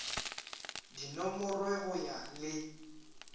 di nomorwe go ya le